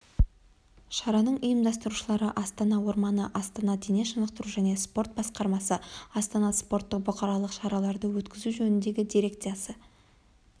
шараның ұйымдастырушылары астана орманы астана дене шынықтыру және спорт басқармасы астана спорттық-бұқаралық шараларды өткізу жөніндегі дирекциясы